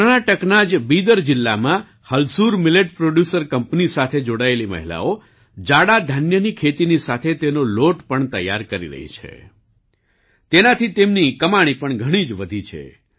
કર્ણાટકના જ બિદર જિલ્લામાં હલસુર મીલેટ પ્રોડ્યુસર કંપની સાથે જોડાયેલી મહિલાઓ જાડા ધાન્યની ખેતીની સાથે તેનો લોટ પણ તૈયાર કરી રહી છે